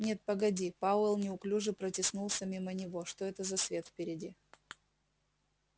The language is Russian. нет погоди пауэлл неуклюже протиснулся мимо него что это за свет впереди